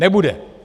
Nebude!